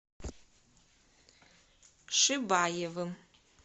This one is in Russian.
шибаевым